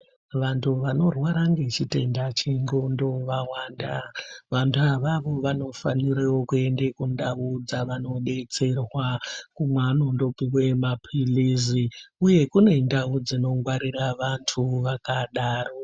Vantu vanorwara ngechitenda chendxondo vawanda. Vantu avavo vanofanirwe kuenda kundau dzevanobetserwa kweanondopiwe maphirizi uye kune ndau dzinobetsere vantu vakadaro.